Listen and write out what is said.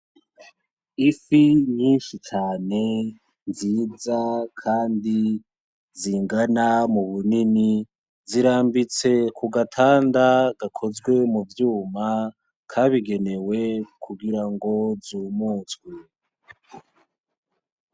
Ifi nyinshi cane nziza kandi zingana mu bunini, zirambitse ku gatanda gakoze mu vyuma kabigenewe kugirango zumutswe..